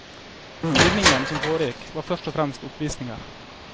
Flyvningen som foregikk var først og fremst oppvisninger.